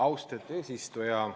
Austatud eesistuja!